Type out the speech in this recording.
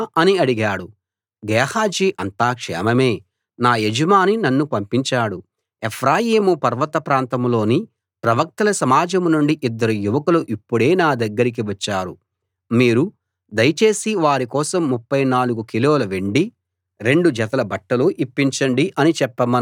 గేహాజీ అంతా క్షేమమే నా యజమాని నన్ను పంపించాడు ఎఫ్రాయిము పర్వత ప్రాంతం లోని ప్రవక్తల సమాజం నుండి ఇద్దరు యువకులు ఇప్పుడే నా దగ్గరికి వచ్చారు మీరు దయచేసి వారి కోసం ముప్ఫై నాలుగు కిలోల వెండీ రెండు జతల బట్టలూ ఇవ్వండి అని చెప్పమన్నాడు అన్నాడు